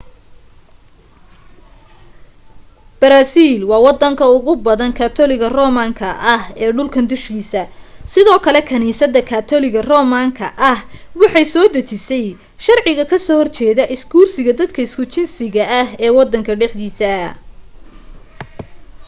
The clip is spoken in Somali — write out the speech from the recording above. brazil waa wadanka ugu badan katoliga roman ka ah ee dhulkan dushiisa sidoo kale kaniisada katoliga roman ka ah waxay soo dejisay sharciga ka soo horjeeda isguursiga dadka isku jinsiga ah ee wadan dhexdiisa